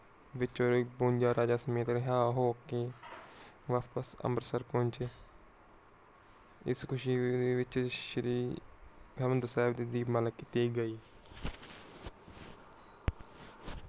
ਵਿਚ ਰਿਹਾ ਹੋਕੇ ਬਾਪਸ ਅੰਬਰਸਰ ਪਹੁੰਚੇ ਇਸ ਖੁਸ਼ੀ ਦੇ ਵਿਚ ਸ਼੍ਰੀ ਹਰਿਮੰਦਰ ਸਾਹਿਬ ਦੀ ਦੀਪਮਾਲਾ ਕੀਤੀ ਗਈ।